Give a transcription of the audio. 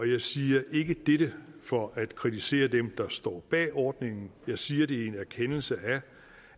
jeg siger ikke dette for at kritisere dem der står bag ordningen jeg siger det i en erkendelse